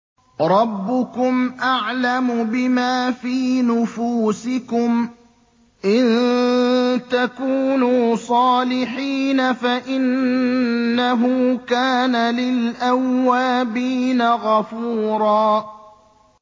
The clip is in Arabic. رَّبُّكُمْ أَعْلَمُ بِمَا فِي نُفُوسِكُمْ ۚ إِن تَكُونُوا صَالِحِينَ فَإِنَّهُ كَانَ لِلْأَوَّابِينَ غَفُورًا